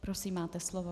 Prosím, máte slovo.